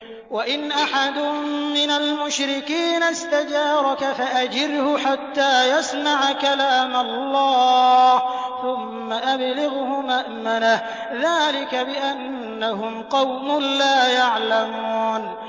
وَإِنْ أَحَدٌ مِّنَ الْمُشْرِكِينَ اسْتَجَارَكَ فَأَجِرْهُ حَتَّىٰ يَسْمَعَ كَلَامَ اللَّهِ ثُمَّ أَبْلِغْهُ مَأْمَنَهُ ۚ ذَٰلِكَ بِأَنَّهُمْ قَوْمٌ لَّا يَعْلَمُونَ